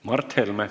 Mart Helme.